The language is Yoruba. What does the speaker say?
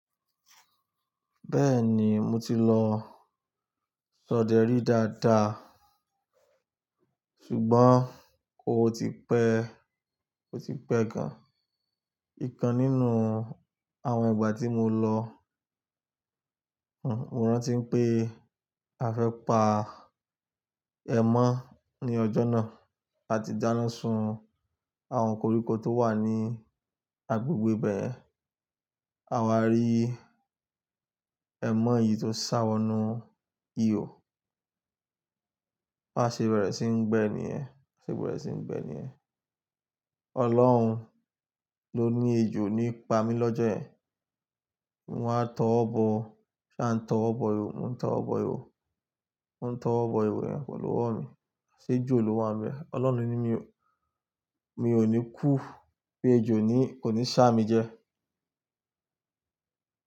Bẹ́ẹ̀ni mo ti lọ s'oderi dáadáa, ṣùgbọ́n o ti pẹ́, ò ti pẹ́ gan. Nkan nínú àwọn ìgbà tí mo lọ, mo rán tí pé a fẹ́ pa ẹ́mọ́ ní ọjọ́ náà. A ti dáná sun àwọn koríko tó wà ní agbègbè ibẹ́ ẹ̀. Àwa rí ẹ̀mọ́ yìí tó sá wọnú ihò, ba ṣe bẹ̀rẹ̀ sín n gbẹ́ níyen, bá ṣe bẹ̀rẹ̀ sí ní gbẹ́ níyẹ̀n. Ọlọ́run ló ní ejò nípa mi lọ́jọ́ yen. Mo wa t'ọwọ́ bọ, mo ṣá n t'ọwo bọ ihò, mò ń t'ọwo bọ ihò, mò ń t'ọwo bo iho yen pẹ̀lú ọwọ́ mi. Aṣé eejo lowa n be e. Ọlọ́run ní mi ò ní kú pé ejò o ní kò ní ṣá mi jẹ.